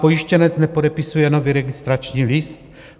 Pojištěnec nepodepisuje nový registrační list.